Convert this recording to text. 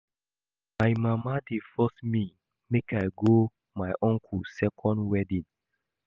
My mama dey force me make I go my uncle second wedding